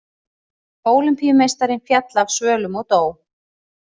Ólympíumeistarinn féll af svölum og dó